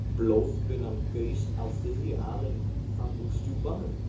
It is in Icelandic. Blóðbunan gaus á þriðju alin fram úr strjúpanum.